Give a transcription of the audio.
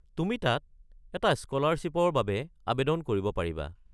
তুমি তাত এটা স্ক’লাৰশ্বিপৰ বাবে আৱেদন কৰিব পাৰিবা।